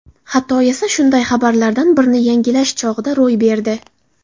Xato esa shunday xabarlardan birini yangilash chog‘ida ro‘y berdi.